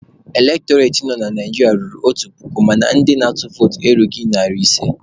Elektọreti nọ na Naijiria ruru otu puku mana ndị na-atụ votu erughị narị ise.